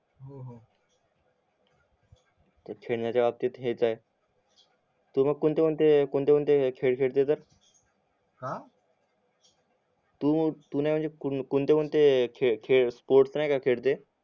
खेळण्याची बाबतीत हेच आहे तू कोणते कोणते